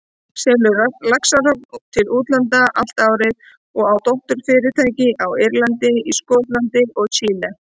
selur laxahrogn til útlanda allt árið og á dótturfyrirtæki á Írlandi, í Skotlandi og Chile.